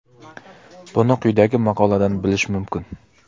Buni quyidagi maqoladan bilish mumkin.